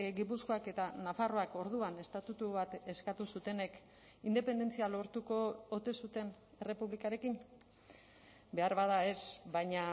gipuzkoak eta nafarroak orduan estatutu bat eskatu zutenek independentzia lortuko ote zuten errepublikarekin beharbada ez baina